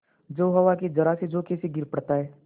जो हवा के जरासे झोंके से गिर पड़ता है